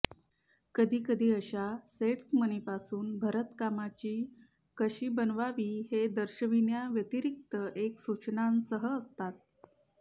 कधीकधी अशा सेट्स मणींपासून भरतकामाची कशी बनवावी हे दर्शविण्याव्यतिरिक्त एक सूचनांसह असतात